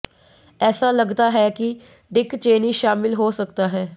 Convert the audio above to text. ऐसा लगता है कि डिक चेनी शामिल हो सकता है